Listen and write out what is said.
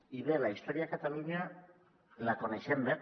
i bé la història a catalunya la coneixem bé